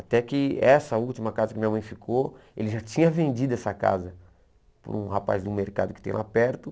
Até que essa última casa que minha mãe ficou, ele já tinha vendido essa casa para um rapaz do mercado que tem lá perto.